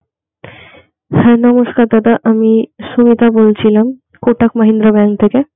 হ্যা নমস্কার দাদা, আমি সঙ্গীতা বলছিলাম Kotak Mahindra Bank থেকে.